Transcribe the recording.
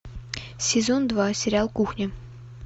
сезон два сериал кухня